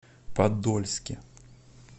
подольске